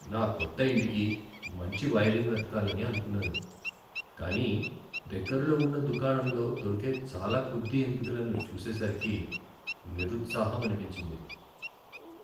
నా కొత్త ఇంటికి మంచి వైరింగ్ వెతకాలని అనుకున్నాను, కానీ దగ్గరలో ఉన్న దుకాణంలో దొరికే చాలా కొద్ది ఎంపికలను చూసేసరికి నిరుత్సాహమనిపించింది.